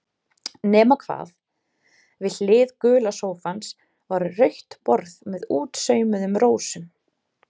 Nema hvað, við hlið gula sófans var rautt borð með útsaumuðum rósum.